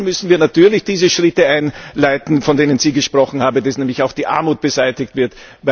Dann müssen wir natürlich diese Schritte einleiten, von denen Sie gesprochen haben, dass nämlich auch die Armut beseitigt wird.